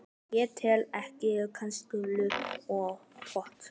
Ég tel ekki kastarholu og pott.